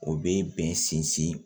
O bɛ bɛn sinsin